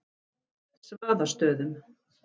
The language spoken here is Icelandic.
Svaðastöðum